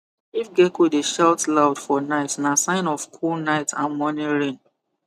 if gecko dey shout loud for night na sign of cool night and morning rain